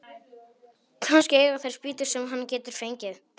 Kannski eiga þeir spýtur sem hann getur fengið.